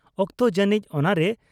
ᱚᱠᱛᱚ ᱡᱟᱱᱤᱡ ᱚᱱᱟᱨᱮ